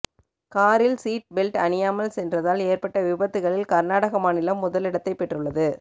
காரில் seat belt அணியாமல் சென்றதால் ஏற்பட்ட விபத்துகளில் கர்நாடக மாநிலம் முதலிடத்தை பெற்றுள்ளது